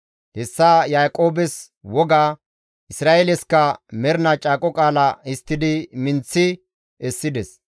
Hessa Yaaqoobes woga, Isra7eelesikka mernaa caaqo qaala histtidi minththi essides.